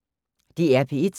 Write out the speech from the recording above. DR P1